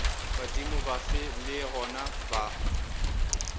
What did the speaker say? badimo bafe le gona ba